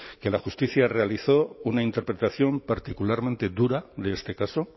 que la justicia realizó una interpretación particularmente dura de este caso